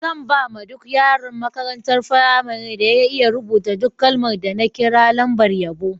Zan ba ma duk yaron makarantan firamarin da ya iya rubuta duk kalman da na kira lambar yabo.